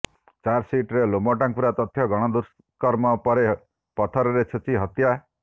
ଚାର୍ଜସିଟ୍ରେ ଲୋମଟାଙ୍କୁରା ତଥ୍ୟ ଗଣ ଦୁଷ୍କର୍ମ ପରେ ପଥରରେ ଛେଚି ହତ୍ୟା